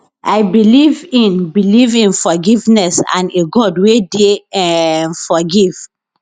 i believe in believe in forgiveness and a god wey dey um forgive